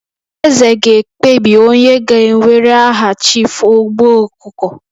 Eze ga-ekpebi onye ga-ewere aha Chief Ogbu Okuko